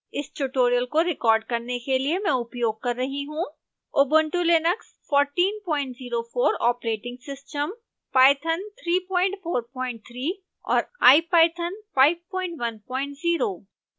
इस ट्यूटोरियल को रिकॉर्ड करने के लिए मैं उपयोग कर रही हूँ